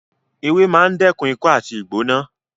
Ewé máa ń dẹ́kun ikọ́ àti ìgbóná